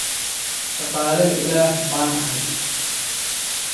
Shaqaale Ilaah baan ahay.